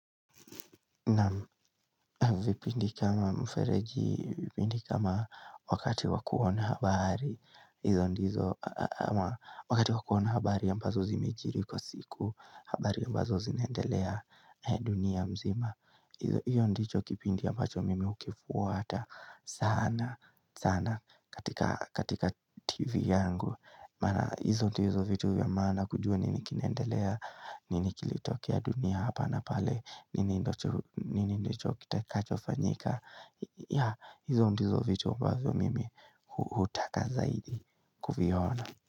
Na vipindi kama mfereji, vipindi kama wakati wa kuona habari hizo ndizo, wakati wa kuona habari ambazo zimejiri kwa siku habari ambazo zinaendelea dunia mzima hizo hiyo ndicho kipindi ambacho mimi hukifuata sana, sana katika TV yangu Maana hizo ndizo vitu vya maana kujua nini kinaendelea, nini kilitokea dunia hapa na pale nini ndicho kitakachofanyika yeah hizo ndizo vitu ambazo mimi hutaka zaidi kuviona.